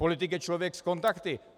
Politik je člověk s kontakty.